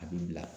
A bɛ bila